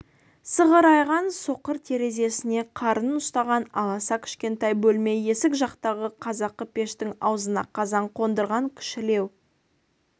сығырайған соқыр терезесіне қарын ұстаған аласа кішкентай бөлме есік жақтағы қазақы пештің аузына қазан қондырған кішілеу